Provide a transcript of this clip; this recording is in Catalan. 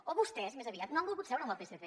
o vostès més aviat no han volgut seure amb el psc